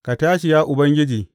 Ka tashi Ya Ubangiji!